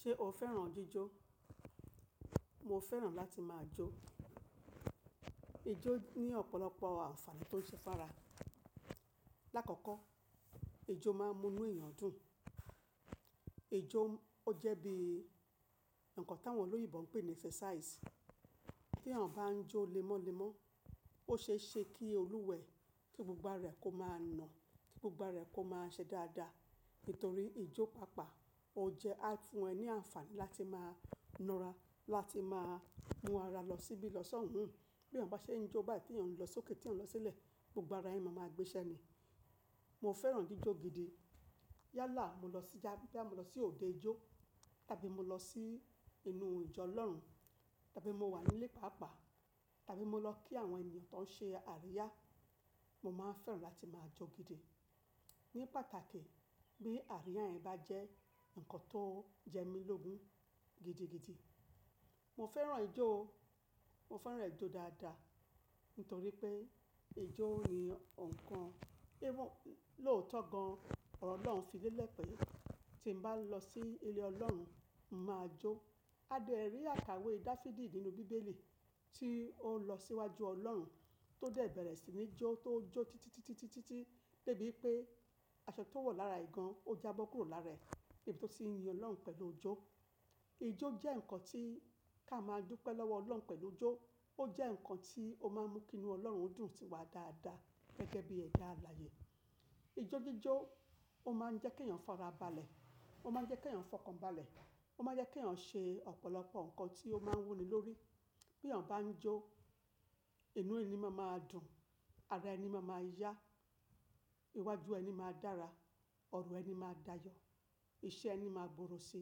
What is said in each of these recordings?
Ṣé o fẹ́ràn jíjó? Mo fẹ́ràn láti máa jó. Ijó ní ọ̀pọ̀lọpọ̀ àǹfààní tó ń ṣe fára. Láàkọ́kọ́ ijó máa ń mú inú èèyàn dùn. Ijó ó jẹ́ bí nǹkan táwọn olóyìnbò ń pè ní exercise. Bí èèyàn bá ń jó lemọ́lemọ́, ó ṣe é ṣe kí olùwẹ̀ kí gbogbo ara rẹ̀ kó máa nà, kí gbogbo ara rẹ̀ kó máa ṣe dáadáa. Nítorí ijó pàápàá ó jẹ fún ẹ ní àǹfààní láti máa na ara, láti máa mú ara lọ síbí lọ́sàn-oun. Bí èèyàn bá ṣe ń jó bá ti èèyàn ń lọ sókè tí èèyàn ń lọ sílẹ̀, gbogbo ara ẹni máa ma gbéṣẹ ni. Mo fẹ́ràn jíjó gidi. Yálà mo lọ sí jáde, bá mo lọ sí òde ijó tàbí mo lọ sí inú ìjọ Ọlọ́run tàbí mo wà nílé pàápàá tàbí mo lọ kí àwọn ènìyàn tó ń ṣe àríyá, mo máa ń fẹ́ràn láti máa jó gidi. Ní pàtàkì bí àríyá yẹn bá jẹ́ nǹkan tó jẹ mí lógun gidigidi. Mo fẹ́ràn ijó o. Mo fẹ́ràn ijó dáadáa nítorí pé ijó ni nǹkan lóòótọ́ gan ọlọ́run fi lélẹ̀ pé tí mo bá lọ sí ilé Ọlọ́run, mo máa jó. A lè rí àkàwé Dafidi nínú bíbélì tí ó lọ síwájú Ọlọ́run tó dẹ̀ bẹ̀rẹ̀ sí ní jó tó ń jó títítítítítítí débi pé aṣọ tó wà lára ìgan ó jábọ́ kúrò lára rẹ̀ níbi tó sì ń yin Ọlọ́run pẹ̀lú ijó. Ijó jẹ́ nǹkan tí ká máa dúpẹ́ lọ́wọ́ Ọlọ́run pẹ̀lú ijó. Ó jẹ́ nǹkan tí ó máa ń mú kí inú Ọlọ́run dùn sí wa dáadáa gẹ́gẹ́ bí ẹ̀dá alààyè. Ijó jíjó ó máa ń jẹ́ kí èèyàn fọ́ ara balẹ̀, ó máa ń jẹ́ kí èèyàn fọkàn balẹ̀, ó máa ń jẹ́ kí èèyàn ṣe ọ̀pọ̀lọpọ̀ nǹkan tí ó máa ń wuni lórí. Bí èèyàn bá ń jó, inú ẹni máa ma dùn, ara ẹni máa ma yá, iwájú ẹni máa dára, ọna ẹni máa dáa yọ, iṣẹ́ ẹni máa gbòòrò ṣe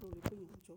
nítorí pé èèyàn ń jó.